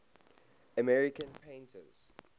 american painters